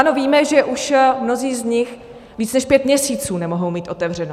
Ano víme, že už mnozí z nich víc než pět měsíců nemohou mít otevřeno.